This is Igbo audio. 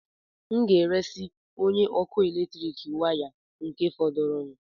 M nga-eresị onye ọkụ eletrik ahụ waya nke fọdụrụ